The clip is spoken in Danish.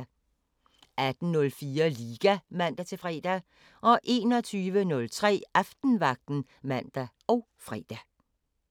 18:04: Liga (man-fre) 21:03: Aftenvagten (man og fre)